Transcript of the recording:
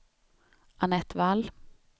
Annette Wall